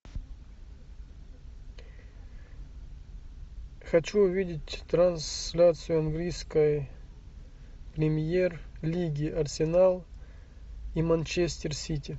хочу увидеть трансляцию английской премьер лиги арсенал и манчестер сити